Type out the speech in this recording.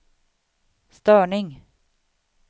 störning